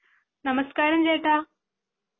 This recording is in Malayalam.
നമസ്കാരം ചേട്ടാ